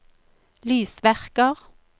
lysverker